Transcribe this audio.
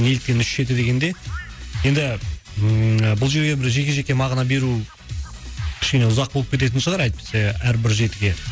неліктен үш жеті дегенде енді ммм бұл жерде бір жеке жеке мағына беру кішкене ұзақ болып кететін шығар әйтпесе әрбір жетіге